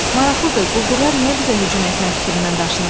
Maraqlıdır, quldurlar niyə bizə hücum etmək fikrindən daşınıblar?